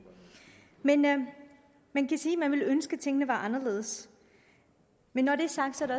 at man ville ønske at tingene var anderledes men når det er sagt er det